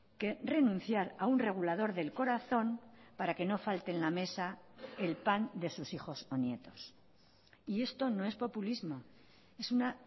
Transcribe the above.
que renunciar a un regulador del corazón para que no falte en la mesa el pan de sus hijos o nietos y esto no es populismo es una